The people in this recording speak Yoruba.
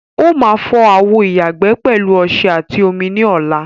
Ó máa fọ àwo ìyàgbẹ́ pẹ̀lú ọṣẹ àti omi ní ọla.